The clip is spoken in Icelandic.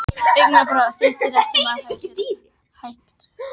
Augnaráð þitt er ekki margrætt heldur einrætt.